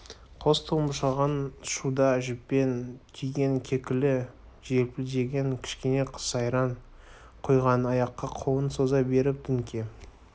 қос тұлымшағын шуда жіппен түйген кекілі желпілдеген кішкене қыз айран құйған аяққа қолын соза беріп дүңке